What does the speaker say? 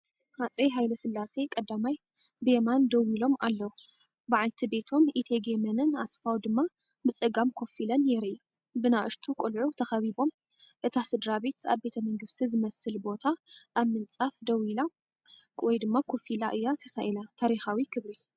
ሃጸይ ሃይለስላሴ ቀዳማይ ብየማን ደው ኢሎም፡ በዓልቲ ቤቶም ኢቴጌ መነን ኣስፋው ድማ ብጸጋም ኮፍ ኢለን የርኢ። ብንኣሽቱ ቆልዑ ተኸቢቦም፤ እታ ስድራቤት ኣብ ቤተ መንግስቲ ዝመስል ቦታ ኣብ ምንጻፍ ደው ኢላ/ኮፍ ኢላ እያ ተሳኢላ። ታሪኻዊ ክብሪ!